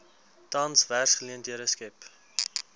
tans werksgeleenthede skep